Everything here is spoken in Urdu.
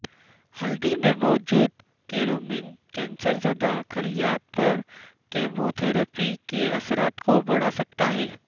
ہلدی میں موجود کرکیومن کینسر زدہ خلیات پر کیموتھراپی کے اثرات کو بڑھا سکتا ہے